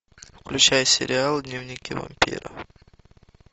включай сериал дневники вампира